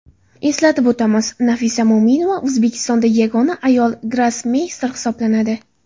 Eslatib o‘tamiz, Nafisa Mo‘minova O‘zbekistonda yagona ayol grossmeyster hisoblanadi .